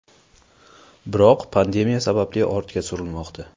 Biroq, pandemiya sababli ortga surilmoqda.